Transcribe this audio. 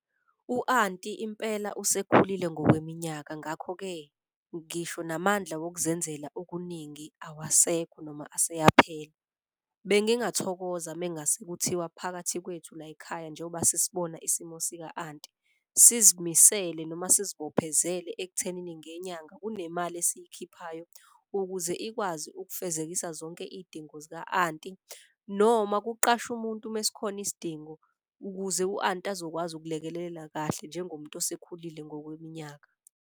U-anti impela usekhulile ngokweminyaka ngakho-ke ngisho namandla wokuzenzela okuningi awasekho noma aseyaphela. Bengingathokoza mengase kuthiwa phakathi kwethu layikhaya njengoba sisibona isimo sika-anti. Sizimisele noma sizibophezele ekuthenini ngenyanga kunemali esiyikhiphayo ukuze ikwazi ukufezekisa zonke iy'dingo zika-anti. Noma kuqashwe umuntu ume sikhona isidingo ukuze u-anti azokwazi ukulekelelela kahle njengomuntu osekhulile ngokweminyaka.